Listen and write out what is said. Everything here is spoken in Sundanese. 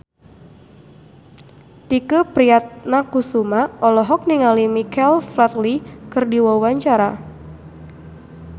Tike Priatnakusuma olohok ningali Michael Flatley keur diwawancara